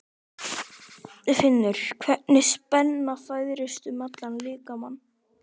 Finnur hvernig spenna færist um allan líkamann.